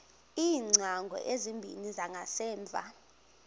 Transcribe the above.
iingcango ezimbini zangasemva